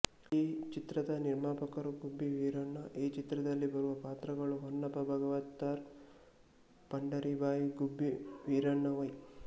ಈ ಚಿತ್ರದ ನಿರ್ಮಾಪಕರು ಗುಬ್ಬಿ ವೀರಣ್ಣ ಈ ಚಿತ್ರದಲ್ಲಿ ಬರುವ ಪಾತ್ರಗಳು ಹೊನ್ನಪ್ಪ ಭಾಗವತರ್ ಪಂಡರೀಬಾಯಿ ಗುಬ್ಬಿ ವೀರಣ್ಣ ವೈ